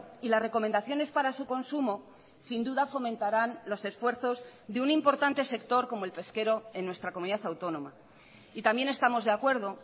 y las recomendaciones para su consumo sin duda fomentarán los esfuerzos de un importante sector como el pesquero en nuestra comunidad autónoma y también estamos de acuerdo